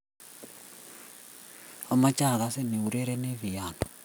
amoche akasin iurerenii piano.